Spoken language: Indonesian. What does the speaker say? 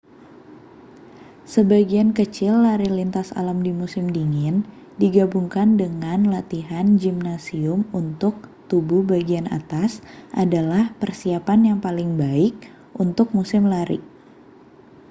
sebagian kecil lari lintas alam di musim dingin digabungkan dengan latihan gimnasium untuk tubuh bagian atas adalah persiapan yang paling baik untuk musim lari